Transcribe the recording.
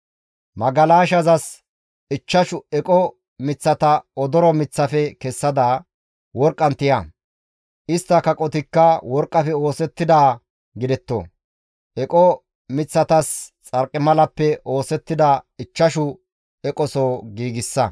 Magalashazas ichchashu eqo miththata odoro miththafe kessada, worqqan tiya; istta kaqotikka worqqafe oosettidaa gidetto; eqo miththatas xarqimalappe oosettida ichchashu eqoso giigsa.